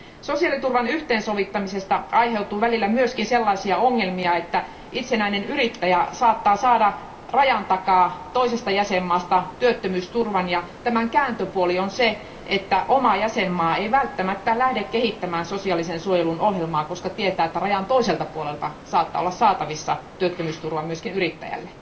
Sosiaaliturvan yhteensovittamisesta aiheutuu välillä myös sellaisia ongelmia, että itsenäinen yrittäjä saattaa saada rajan takaa toisesta jäsenvaltiosta työttömyysturvan, ja tämän kääntöpuoli on se, että oma jäsenvaltio ei välttämättä lähde kehittämään sosiaalisen suojelun ohjelmaa, koska tietää, että rajan toiselta puolelta saattaa olla saatavissa työttömyysturvaa myös yrittäjälle.